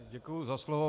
Děkuji za slovo.